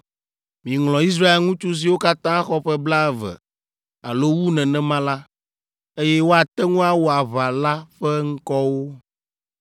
Miŋlɔ Israel ŋutsu siwo katã xɔ ƒe blaeve alo wu nenema la, eye woate ŋu awɔ aʋa la ƒe ŋkɔwo.